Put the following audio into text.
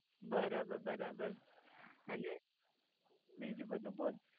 બરાબર બરાબર અને બીજું બધું બોલ